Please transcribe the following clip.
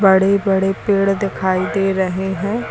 बड़े बड़े पेड़ दिखाई दे रहे हैं।